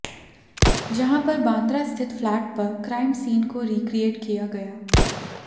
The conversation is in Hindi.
जहां पर बांद्रा स्थित फ्लैट पर क्राइम सीन को रीक्रिएट किया गया